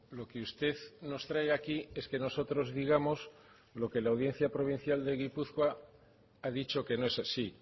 lo que usted nos trae aquí es que nosotros digamos lo que la audiencia provincial de gipuzkoa ha dicho que no es así